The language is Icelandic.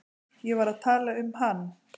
Ég var að tala um hann.